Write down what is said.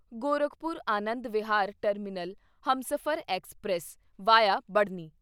Gorakhpur Anand Vihar terminal Humsafar express via Barhni